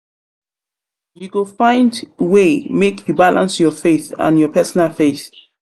go find way make you balance your faith and your personal faith.